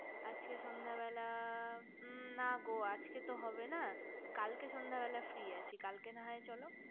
আজকে সন্ধ্যা বেলা মু না গো আজকে সন্ধ্যাবেলা তো হবে না কালকে সন্ধ্যাবেলা কালকে না হয় চলো